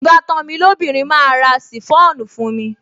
Ìbátan mi lóbìnrin máa ra ṣìfọ́ònù fún mi